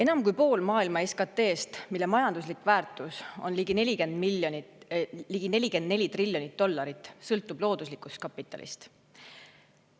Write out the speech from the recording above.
Enam kui pool maailma SKT‑st, mille majanduslik väärtus on ligi 44 triljonit dollarit, sõltub looduslikust kapitalist.